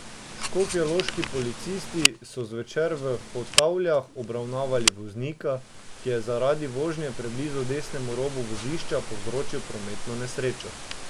Škofjeloški policisti so zvečer v Hotavljah obravnavali voznika, ki je zaradi vožnje preblizu desnemu robu vozišča povzročil prometno nesrečo.